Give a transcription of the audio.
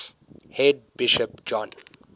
head bishop john